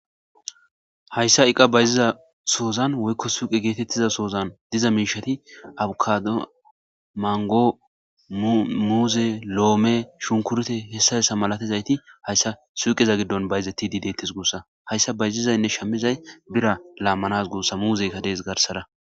Hayssa iqqa bayziza sohozan woykko suqqe gethethiza sohozan dizza mishathi abkado, mango, muzze, lomme, shunkurte, heyssa heyssa malathizayti hayssa suqqeza gidon bayzethidi dethess gussa hayssa suqqeza bayzizaynne shamizay birra lamanawu mazzekka dess garsara.